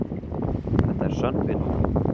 Þetta er sönn vinátta.